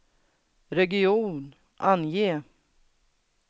region, ange